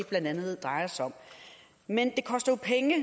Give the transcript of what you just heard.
blandt andet drejer sig om men det koster jo penge